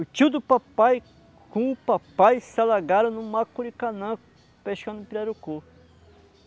O tio do papai, com o papai, se alagaram no macurikanã, pescando pirarucu.